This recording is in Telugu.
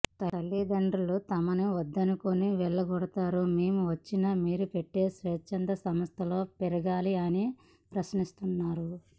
తల్లిదండ్రులు తమని వద్దనుకుని వెళ్లగొడతారు మేము వచ్చి మీరు పెట్టే స్వచ్చంద సంస్థలో పెరగాల అని ప్రశ్నిస్తున్నారు